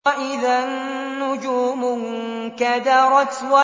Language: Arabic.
وَإِذَا النُّجُومُ انكَدَرَتْ